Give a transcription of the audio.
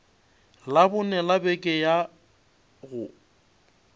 labone la beke ya go